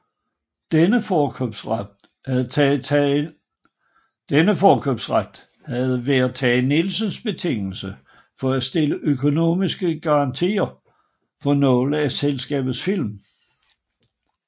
Denne forkøbsret havde været Tage Nielsens betingelse for at stille økonomiske garantier for nogle af selskabets film